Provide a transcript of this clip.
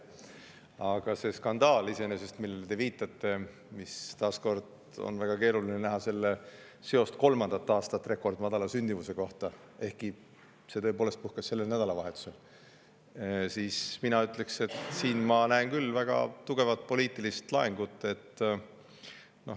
Aga selle skandaali kohta, millele te viitate – taas kord ütlen, et selle puhul on väga keeruline näha seost kolmandat aastat rekordmadala sündimusega Eestis – ja mis tõepoolest sellel nädalavahetusel puhkes, ma ütleks, et siin ma näen küll väga tugevat poliitilist laengut.